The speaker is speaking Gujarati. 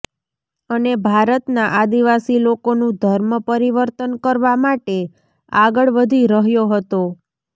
અને ભારતના આદિવાસી લોકોનું ધર્મ પરિવર્તન કરવા માટે આગળ વધી રહ્યો હતો